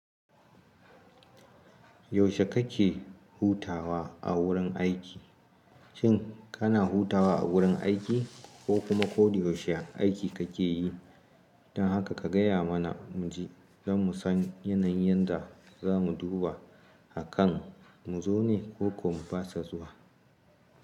Yaushe kake hutawa a wurin aiki? Shin kana hutawa a wurin aiki ko kuma koda yaushe aiki kake yi? Dan haka ka gaya mana mu ji, zamu san yanayin da za mu duba a kan mu zo ne koko mu fasa zuwa.